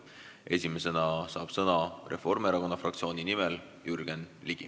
Esimesena saab Reformierakonna fraktsiooni nimel sõna Jürgen Ligi.